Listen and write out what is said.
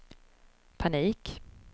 panik